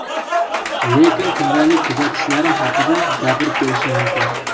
Lekin kundalik kuzatishlarim haqida gapirib berishim mumkin.